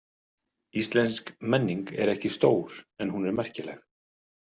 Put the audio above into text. Íslensk menning er ekki stór en hún er merkileg.